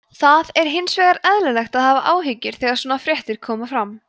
það hins vegar eðlilegt að hafa áhyggjur þegar svona fréttir koma fram